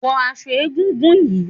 Wo aso egúngún yìí!